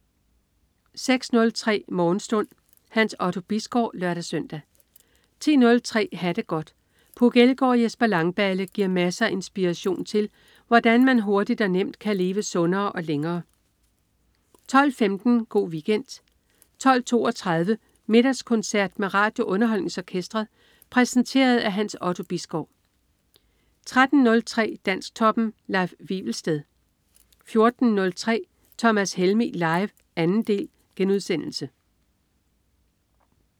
06.03 Morgenstund. Hans Otto Bisgaard (lør-søn) 10.03 Ha' det godt. Puk Elgård og Jesper Langballe giver masser af inspiration til, hvordan man hurtigt og nemt kan leve sundere og længere 12.15 Go' Weekend 12.32 Middagskoncert med RadioUnderholdningsOrkestret. Præsenteret af Hans Otto Bisgaard 13.03 Dansktoppen. Leif Wivelsted 14.03 Thomas Helmig. Live. 2. del*